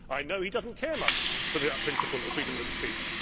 I know he does not care much for the principle of freedom of speech.